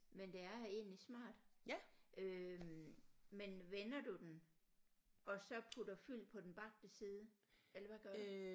Men det er egentlig smart øh men vender du den og så putter fyld på den bagte side eller hvad gør du